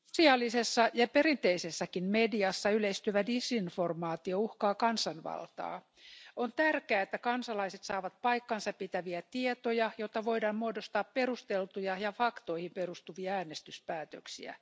Arvoisa puhemies, sosiaalisessa ja perinteisessäkin mediassa yleistyvä disinformaatio uhkaa kansanvaltaa. On tärkeää, että kansalaiset saavat paikkansapitäviä tietoja, jotta voidaan muodostaa perusteltuja ja faktoihin perustuvia äänestyspäätöksiä.